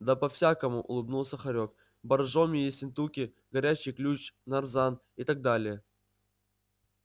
да по-всякому улыбнулся хорёк боржоми ессентуки горячий ключ нарзан и так далее